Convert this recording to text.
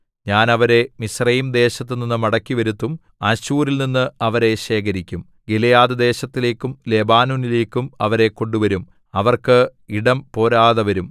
ഞാൻ അവരെ മിസ്രയീംദേശത്തുനിന്നു മടക്കിവരുത്തും അശ്ശൂരിൽനിന്ന് അവരെ ശേഖരിക്കും ഗിലെയാദ്‌ദേശത്തിലേക്കും ലെബാനോനിലേക്കും അവരെ കൊണ്ടുവരും അവർക്ക് ഇടം പോരാതെവരും